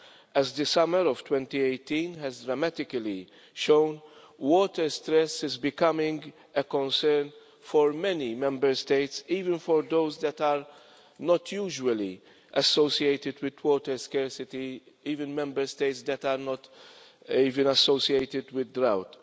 As the summer of 2018 has dramatically shown, water stress is becoming a concern for many Member States, even for those that are not usually associated with water scarcity, even Member States that are not even associated with drought.